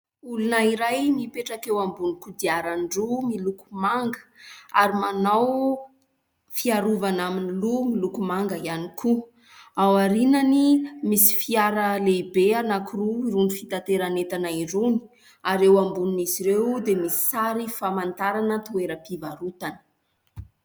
Olona iray mipetraka eo ambony kodiarandroa miloko manga ary manao fiarovana amin'ny loha miloko manga ihany koa. Ao aorianany misy fiara lehibe anankiroa irony fitateran'entana irony. Ary ambonin'izy ireo dia misy sary famantarana toeram-pivarotana.